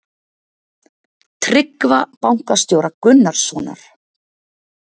Tryggva bankastjóra Gunnarssonar.